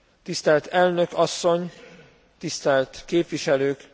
Tisztelt elnök asszony, tisztelt képviselők!